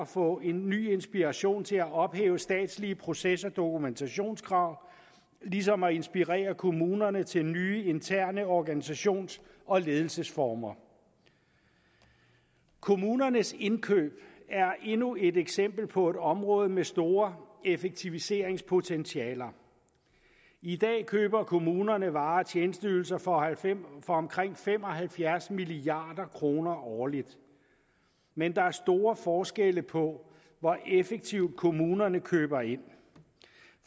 få en ny inspiration til at ophæve statslige proces og dokumentationskrav ligesom at inspirere kommunerne til nye interne organisations og ledelsesformer kommunernes indkøb er endnu et eksempel på et område med store effektiviseringspotentialer i dag køber kommunerne varer og tjenesteydelser for omkring fem og halvfjerds milliard kroner årligt men der er store forskelle på hvor effektivt kommunerne køber ind